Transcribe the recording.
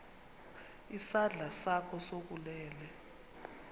isandla sakho sokunene